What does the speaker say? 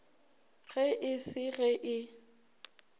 ge e se ge e